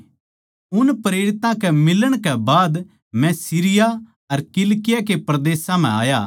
उन प्रेरितां के मिलण कै बाद मै सीरिया अर किलिकिया के परदेसां म्ह आया